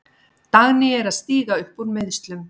Dagný er að stíga upp úr meiðslum.